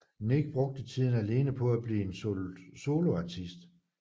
Nick brugte tiden alene på at blive en soloartist